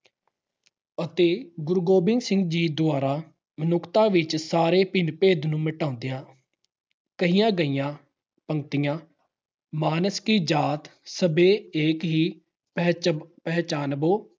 ਅਤੇ ਗੁਰੂ ਗੋਬਿੰਦ ਸਿੰਘ ਦੁਆਰਾ ਮਨੁੱਖਤਾ ਵਿੱਚ ਸਾਰੇ ਭਿੰਨ-ਭੇਦ ਨੂੰ ਮਿਟਾਉਂਦਿਆਂ ਕਹੀਆਂ ਹੋਈਆਂ ਗੱਲਾਂ -ਮਾਨਸ ਕੀ ਜਾਤ ਸਬੈ ਏਕੈ ਪਹਿਚਾਨਬੋ॥